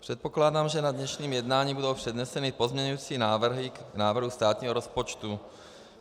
Předpokládám, že na dnešním jednání budou předneseny pozměňující návrhy k návrhu státního rozpočtu.